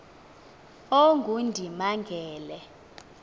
ongundimangele